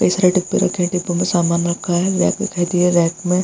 कई सारे डिब्बे रक्खें है डिब्बों में सामान रखा हैं रेक दिखाई दे रहा है रेक में --